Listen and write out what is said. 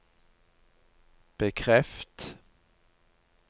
bekreft